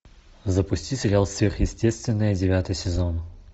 запусти сериал сверхъестественное девятый сезон